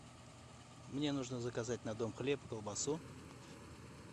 мне нужно заказать на дом хлеб и колбасу